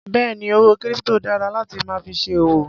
Béèni owó kírípítò dára láti máa fi ṣe òwò.